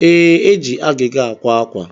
Ee, eji agịga àkwá ákwà